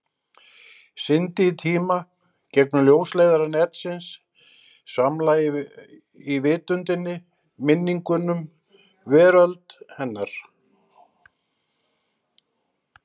Syndi í tíma, gegnum ljósleiðara netsins, svamla í vitundinni, minningum, veröld hennar.